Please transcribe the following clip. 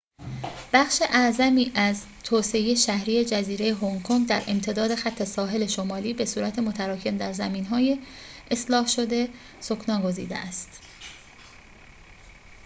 بخش اعظمی از توسعه شهری جزیره هنگ‌کنگ در امتداد خط ساحل شمالی به‌صورت متراکم در زمین‌های اصلاح‌شده سکنی‌گزیده است